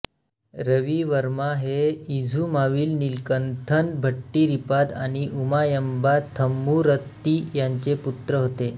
रविवर्मा हे इझुमाविल नीलकंथन भट्टीरिपाद आणि उमायंबा थम्पुररत्ती यांचे पुत्र होते